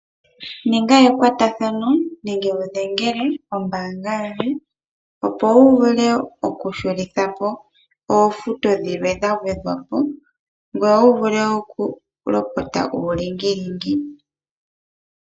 Ninga ekwatathano nenge wudhengele ombaanga yoye opo wuvule oku shulithapo oofuto dhilwe dha gwedhwapo ngoye wuvule woo oku lopota uulingilingi.